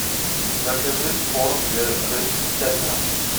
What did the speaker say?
закажи корм для рыб тетра